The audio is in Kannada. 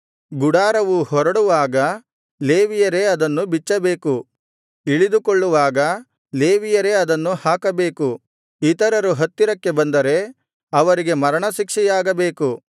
ಗುಡಾರವು ಹೊರಡುವಾಗ ಲೇವಿಯರೇ ಅದನ್ನು ಬಿಚ್ಚಬೇಕು ಇಳಿದುಕೊಳ್ಳುವಾಗ ಲೇವಿಯರೇ ಅದನ್ನು ಹಾಕಬೇಕು ಇತರರು ಹತ್ತಿರಕ್ಕೆ ಬಂದರೆ ಅವರಿಗೆ ಮರಣಶಿಕ್ಷೆಯಾಗಬೇಕು